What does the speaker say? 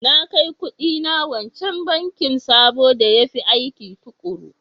Na kai kuɗina wancan bankin sabo da ya fi aikin tukuru.